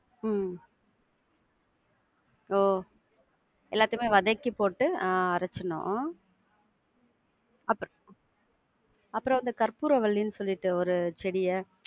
உம் ஒ! எல்லாத்தையுமே வதக்கி போட்டு ஆஹ் அரச்சிரனும் உம் அப்புறம் அப்புறம் அந்த கர்ப்புரவல்லின்னு சொல்லிட்டு ஒரு செடிய~